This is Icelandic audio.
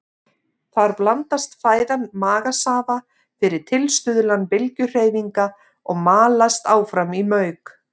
Þar blandast fæðan magasafa fyrir tilstuðlan bylgjuhreyfinga og malast áfram í mauk.